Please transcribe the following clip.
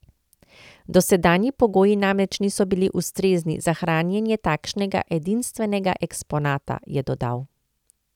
Dosedanji pogoji namreč niso bili ustrezni za hranjenje takšnega edinstvenega eksponata, je dodal.